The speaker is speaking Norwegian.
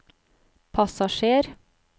passasjer